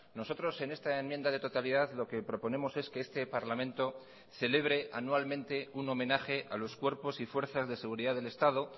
nosotros en esta enmienda de totalidad lo que proponemos es que este parlamento celebre anualmente un homenaje a los cuerpos y fuerzas de seguridad del estado